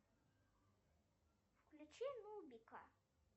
включи нубика